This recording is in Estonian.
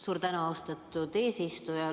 Suur tänu, austatud eesistuja!